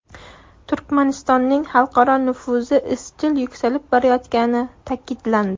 Turkmanistonning xalqaro nufuzi izchil yuksalib borayotgani ta’kidlandi.